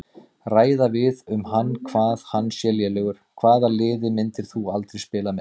Ræða við um hann hvað hann sé lélegur Hvaða liði myndir þú aldrei spila með?